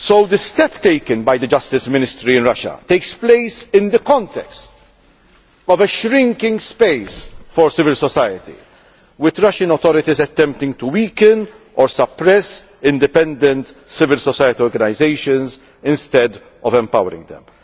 The steps taken by the justice ministry in Russia take place in the context of a shrinking space for civil society, with the Russian authorities attempting to weaken or suppress independent civil society organisations instead of empowering them.